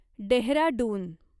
Dehradun